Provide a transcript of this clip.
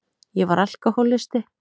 Ég var alkohólisti.